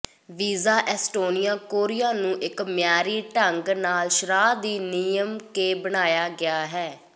visa Estonia Korea ਨੂੰ ਇੱਕ ਮਿਆਰੀ ਢੰਗ ਨਾਲ ਸ਼ਰ੍ਹਾ ਦੀ ਨਿਯਮ ਕੇ ਬਣਾਇਆ ਗਿਆ ਹੈ